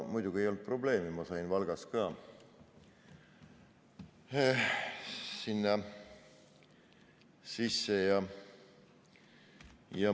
Muidugi ei olnud probleemi, ma sain ka Valgas sisse.